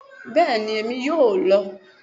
Bẹ́ẹ̀ni, emi yóò lọ